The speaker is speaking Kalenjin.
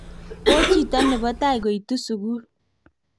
ko chito nebo tai koitu sukul